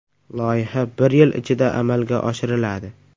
Loyiha bir yil ichida amalga oshiriladi.